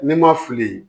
Ne ma fili